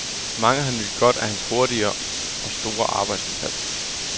Mange har nydt godt af hans hurtige og store arbejdsindsats.